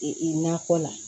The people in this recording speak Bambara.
E e nakɔ la